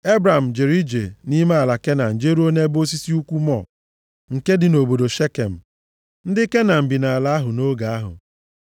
Ebram jere ije nʼime ala Kenan jeruo nʼebe osisi ukwu More, nke dị nʼobodo Shekem. Ndị Kenan bi nʼala ahụ nʼoge ahụ.